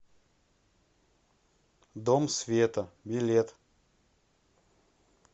дом света билет